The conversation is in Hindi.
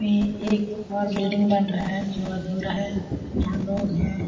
ये एक और बिल्डिंग बन रहा है जो अधूरा है यहाँ लोग है।